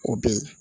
O be yen